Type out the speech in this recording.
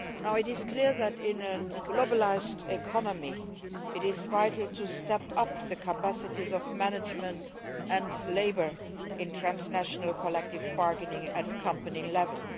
It is clear that in a globalised economy, it is vital to step up the capacities of management and labour in transnational collective bargaining at company level.